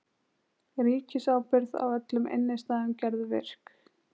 Ríkisábyrgð á öllum innistæðum gerð virk